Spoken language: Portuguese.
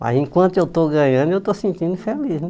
Mas enquanto eu estou ganhando, eu estou sentindo feliz, né?